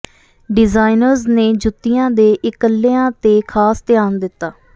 designers ਨੇ ਜੁੱਤੀਆਂ ਦੇ ਇਕਲਿਆਂ ਤੇ ਖਾਸ ਧਿਆਨ ਦਿੱਤਾ